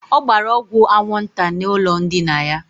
Ọ gbara ọgwụ anwụnta n' ụlọ ndina ya.